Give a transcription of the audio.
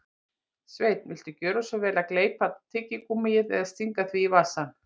Sveinn, viltu gjöra svo vel að gleypa tyggigúmmíið eða stinga því í vasann